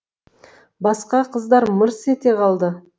басқа қыздар мырс ете қалады